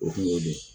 O kun y'o de ye